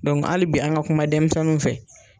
Dɔnku ali bi an ka kuma denmisɛnniw fɛ